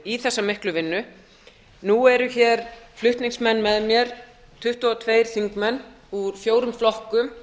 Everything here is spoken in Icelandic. í þessa miklu vinnu nú eru hér flutningsmenn með mér tuttugu og tveir þingmenn úr fjórum flokkum